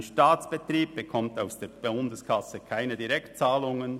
Ein Staatsbetrieb erhält aus der Bundeskasse keine Direktzahlungen.